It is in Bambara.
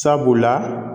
Sabula